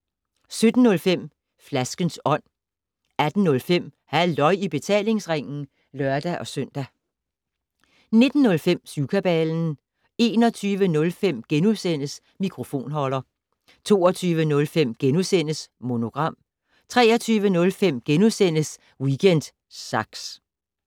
17:05: Flaskens Ånd 18:05: Halløj i betalingsringen (lør-søn) 19:05: Syvkabalen 21:05: Mikrofonholder * 22:05: Monogram * 23:05: Weekend Sax *